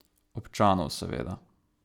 Občanov, seveda.